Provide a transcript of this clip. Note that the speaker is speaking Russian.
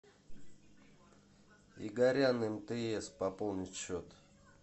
игорян мтс пополнить счет